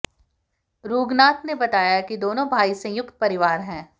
रुगनाथ ने बताया कि दोनों भाई का संयुक्त परिवार है